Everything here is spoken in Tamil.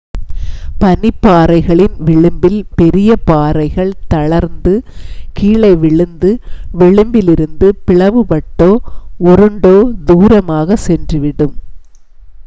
பனிப்பாறைகளின் விளிம்பில் பெரிய பாறைகள் தளர்ந்து கீழே விழுந்து விளிம்பிலிருந்து பிளவுபட்டோ உருண்டோ தூரமாக சென்றுவிடும்